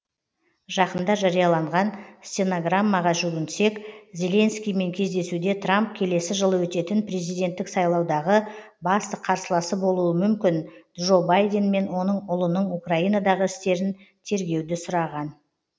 жақында жарияланған стенограммаға жүгінсек зеленскиймен кездесуде трамп келесі жылы өтетін президенттік сайлаудағы басты қарсыласы болуы мүмкін джо байден мен оның ұлының украинадағы істерін тергеуді сұраған